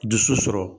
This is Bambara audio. Dusu sɔrɔ